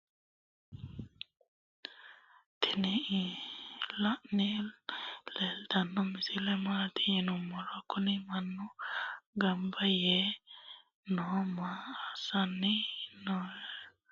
tini lani leltano misile mati yinumoro .kuni maanu ganba yee noo maa asani noya yiniro manukuni ganba yee qexala lexa'lani noho. anga balunku urde amaxe noo.